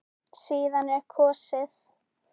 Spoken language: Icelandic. Síðan er kosið.